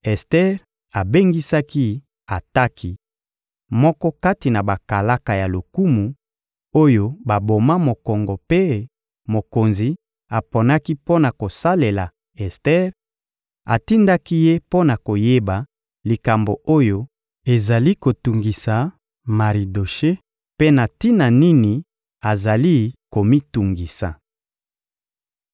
Ester abengisaki Ataki, moko kati na bakalaka ya lokumu, oyo baboma mokongo mpe mokonzi aponaki mpo na kosalela Ester; atindaki ye mpo na koyeba likambo oyo ezali kotungisa Maridoshe mpe tina nini azali komitungisa.